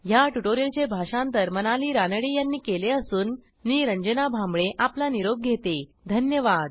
ह्या ट्युटोरियलचे भाषांतर मनाली रानडे यांनी केले असून मी रंजना भांबळे आपला निरोप घेते160धन्यवाद